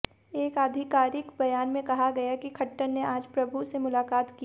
एक आधिकारिक बयान में कहा गया कि खट्टर ने आज प्रभु से मुलाकात की